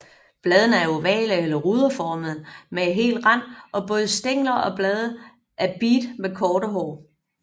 Bladene er ovale eller ruderformede med hel rand og både stængler og blade er beat med korte hår